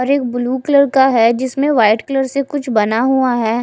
और एक blue colour का है जिसमे वाइट कलर से कुछ बना हुआ है।